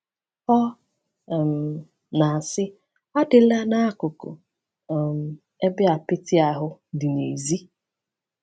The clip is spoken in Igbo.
Ọ um na-asị: “Adịla n’akụkụ um ebe apịtị ahụ dị n’èzí.